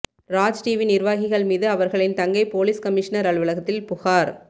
Raj TV நிர்வாகிகள் மீது அவர்களின் தங்கை போலீஸ் கமிஷனர் அலுவலகத்தில் புகார்